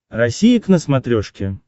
россия к на смотрешке